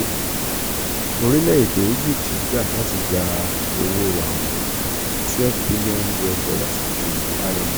orílẹ̀-èdè egipti gbà láti gba owó-àwìn twelve billion US dollars ti imf